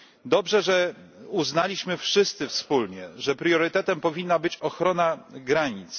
Dobrze, że uznaliśmy wszyscy wspólnie, że priorytetem powinna być ochrona granic.